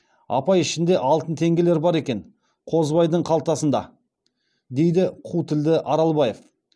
апай ішінде алтын теңгелер бар екен қозыбайдың қалтасында дейді қу тілді аралбаев